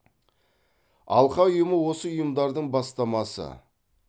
алқа ұйымы осы ұйымдардың бастамасы